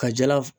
Ka jala